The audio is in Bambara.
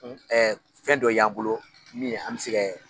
Fɛn dɔ y'an bolo min an bɛ se kɛ